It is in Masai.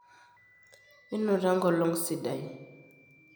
inoto enkolong sidai